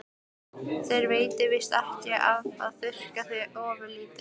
Þér veitir víst ekki af að þurrka þig ofurlítið.